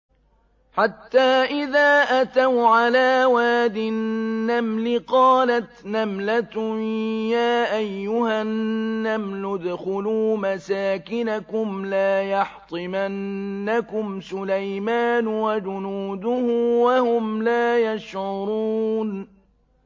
حَتَّىٰ إِذَا أَتَوْا عَلَىٰ وَادِ النَّمْلِ قَالَتْ نَمْلَةٌ يَا أَيُّهَا النَّمْلُ ادْخُلُوا مَسَاكِنَكُمْ لَا يَحْطِمَنَّكُمْ سُلَيْمَانُ وَجُنُودُهُ وَهُمْ لَا يَشْعُرُونَ